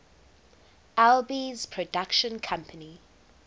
alby's production company